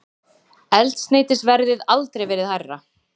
Eldsneytisverðið aldrei verið hærra